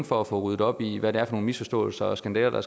for at få ryddet op i hvad det er for nogle misforståelser og skandaler der